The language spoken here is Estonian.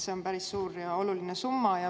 See on päris suur ja oluline summa.